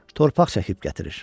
Torpaq çəkib gətirir.